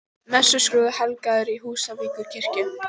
Messuskrúði helgaður í Húsavíkurkirkju